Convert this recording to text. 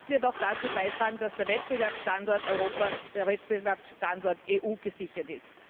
Denn das wird auch dazu beitragen, dass der Wettbewerbsstandort Europa, der Wettbewerbsstandort EU gesichert ist.